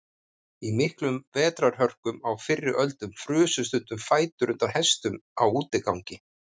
Í miklum vetrarhörkum á fyrri öldum frusu stundum fætur undan hestum á útigangi.